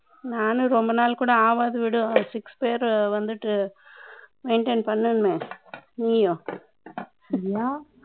நானும் ரொம்ப நாள் கூட ஆகாத வீடு, six பேரு வந்துட்டு, maintain பண்ணுனமே, நீயும் சரியா